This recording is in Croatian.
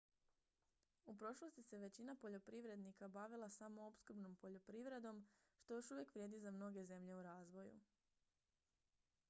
u prošlosti se većina poljoprivrednika bavila samoopskrbnom poljoprivredom što još uvijek vrijedi za mnoge zemlje u razvoju